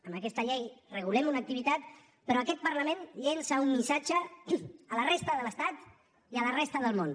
amb aquesta llei regulem una activitat però aquest parlament llença un missatge a la resta de l’estat i a la resta del món